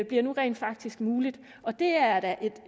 bliver nu rent faktisk muligt og det er da